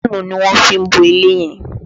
Páànù ni wọ́n fi bo ilé yẹn